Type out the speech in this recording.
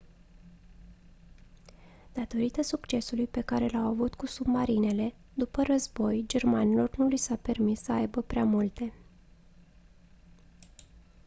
datorită succesului pe care l-au avut cu submarinele după război germanilor nu li s-a permis să aibă prea multe